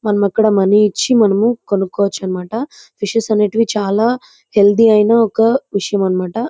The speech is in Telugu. మనం ఆక్కడ మనీ ఇచ్చి మనము కొనుకొచ్చు అన్నమాట ఫిషెస్ చాల హేయాల్టీ అయిన ఒక విషయం అన్నమాట.